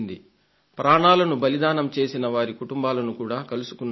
ప్రాణాలను బలిదానం చేసిన వారి కుటుంబాలను కూడా కలుసుకున్నాను